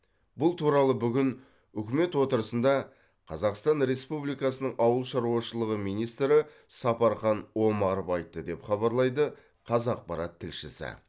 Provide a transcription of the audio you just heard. бұл туралы бүгін үкімет отырысында қазақстан республикасының ауыл шаруашылығы министрі сапархан омаров айтты деп хабарлайды қазақпарат тілшісі